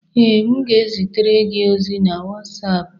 Ee, m ga-ezitere gị ozi na WhatsApp